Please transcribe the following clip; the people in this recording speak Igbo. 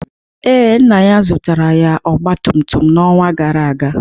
Ee, nna ya zụtara ya ọgba tum tum n'ọnwa gara aga.